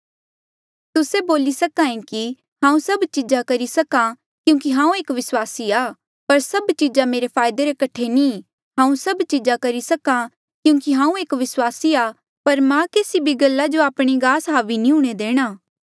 तुस्से बोली सके कि हांऊँ सभ चीजा करी सक्हा क्यूंकि हांऊँ एक विस्वासी आ पर सभ चीजा मेरे फायदे रे कठे नी ई हांऊँ सभ चीजा करी सक्हा क्यूंकि हांऊँ एक विस्वासी आ पर मां केसी भी गल्ला जो आपणे गास हावी नी हूंणे देणा